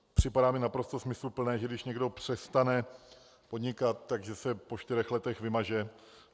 Připadá mi naprosto smysluplné, že když někdo přestane podnikat, tak se po čtyřech letech vymaže.